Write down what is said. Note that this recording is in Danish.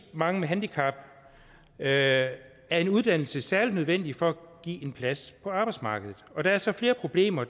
mange med handicap er er en uddannelse særlig nødvendig for at give en plads på arbejdsmarkedet der er så flere problemer